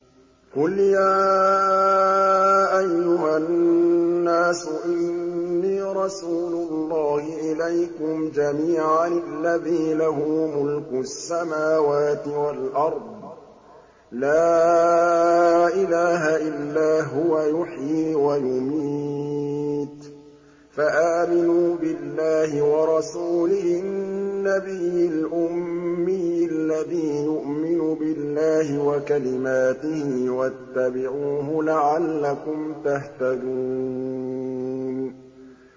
قُلْ يَا أَيُّهَا النَّاسُ إِنِّي رَسُولُ اللَّهِ إِلَيْكُمْ جَمِيعًا الَّذِي لَهُ مُلْكُ السَّمَاوَاتِ وَالْأَرْضِ ۖ لَا إِلَٰهَ إِلَّا هُوَ يُحْيِي وَيُمِيتُ ۖ فَآمِنُوا بِاللَّهِ وَرَسُولِهِ النَّبِيِّ الْأُمِّيِّ الَّذِي يُؤْمِنُ بِاللَّهِ وَكَلِمَاتِهِ وَاتَّبِعُوهُ لَعَلَّكُمْ تَهْتَدُونَ